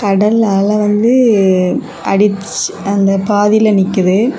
கடல் அலை வந்து அடிச் அந்த பாதில நிக்குது.